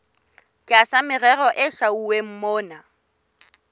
tlasa merero e hlwauweng mona